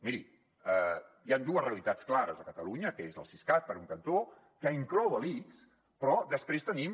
miri hi han dues realitats clares a catalunya que és el siscat per un cantó que inclou l’ics però després tenim